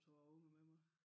Tog jeg ungerne med mig